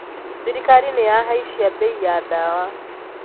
Thirikari niyahaicia mbei ya dawa.